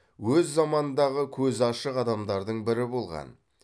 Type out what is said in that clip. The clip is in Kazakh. өз заманындағы көзі ашық адамдардың бірі болған